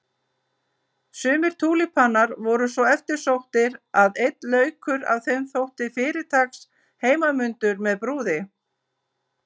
Sumir túlípanar voru svo eftirsóttir að einn laukur af þeim þótti fyrirtaks heimanmundur með brúði.